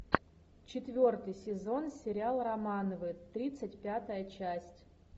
четвертый сезон сериал романовы тридцать пятая часть